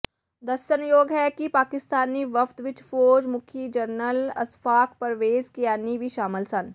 ਦੱਸਣਯੋਗ ਹੈ ਕਿ ਪਾਕਿਸਤਾਨੀ ਵਫਦ ਵਿਚ ਫੌਜ ਮੁਖੀ ਜਨਰਲ ਅਸ਼ਫਾਕ ਪਰਵੇਜ਼ ਕਿਆਨੀ ਵੀ ਸ਼ਾਮਲ ਸਨ